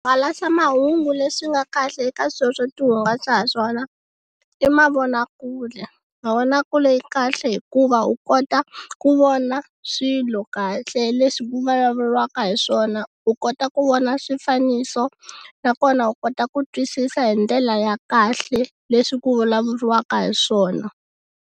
Swihangalasamahungu leswi nga kahle eka sweswo ti hungasa ha swona i mavonakule mavonakule kahle hikuva u kota ku vona swilo kahle leswi ku vulavuriwaka hiswona u kota ku vona swifaniso nakona u kota ku twisisa hi ndlela ya kahle leswi ku vulavuriwaka hiswona.